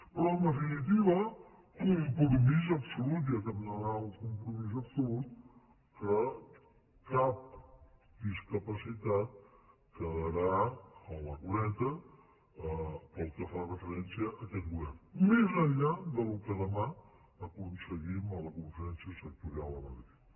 però en definitiva compromís absolut ja que hem d’anar a un compromís absolut que cap discapacitat quedarà a la cuneta pel que fa referència a aquest govern més enllà del que demà aconseguim a la conferència sectorial a madrid